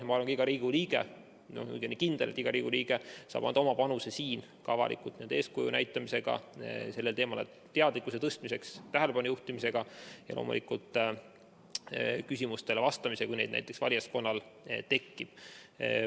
Ja ma olen kindel, et ka iga Riigikogu liige saab anda oma panuse, näidates avalikult eeskuju sellel teemal teadlikkuse suurendamisega, sellele tähelepanu juhtimisega ja loomulikult küsimustele vastamisega, kui neid valijaskonnal tekib.